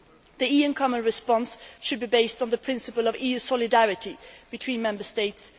The EU common response should be based on the principle of EU solidarity between Member States